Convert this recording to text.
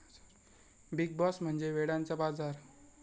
big boss म्हणजे वेड्यांचा बाजार'